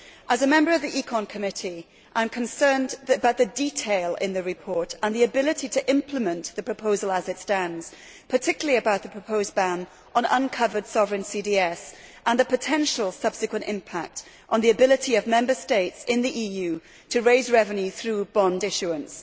As a member of the Committee on Economic and Monetary Affairs, I am concerned by the detail in the report and the ability to implement the proposal as it stands, particularly about the proposed ban on uncovered sovereign CDS and the potential subsequent impact on the ability of Member States in the EU to raise revenue through bond issuance.